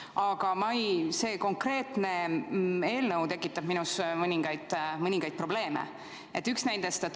Aga see konkreetne eelnõu tekitab minus mõningaid küsimusi.